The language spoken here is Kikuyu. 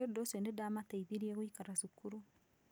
Nĩ ũndũ ũcio nĩ ndaamateithirie gũikara cukuru".